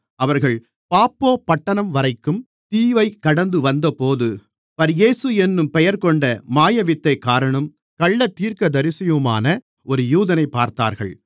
அவர்கள் பாப்போ பட்டணம்வரைக்கும் தீவைக் கடந்துவந்தபோது பர்யேசு என்னும் பெயர்கொண்ட மாயவித்தைக்காரனும் கள்ளத்தீர்க்கதரிசியுமான ஒரு யூதனைப் பார்த்தார்கள்